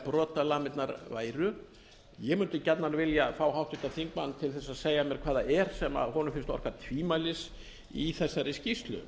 brotalamirnar væru ég mundi gjarnan vilja fá háttvirtan þingmann til að segja mér hvað það er sem honum finnst orka tvímælis í þessari skýrslu